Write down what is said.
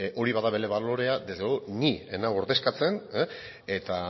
hori bada bere balorea desde luego ni ez nau ordezkatzen eta